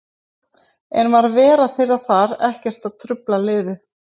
En var vera þeirra þar ekkert að trufla liðið?